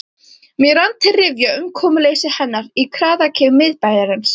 Mér rann til rifja umkomuleysi hennar í kraðaki miðbæjarins.